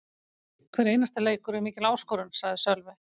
Hver einasti leikur er mikil áskorun, sagði Sölvi.